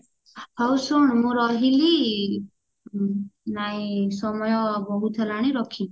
ହଉ ଶୁଣ ମୁଁ ରହିଲି ଉଁ ନାଇଁ ସମୟ ବହୁତ ହେଲାଣି ରଖିଲି